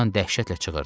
Loran dəhşətlə çığırdı.